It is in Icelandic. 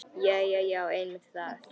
Jæja já, einmitt það.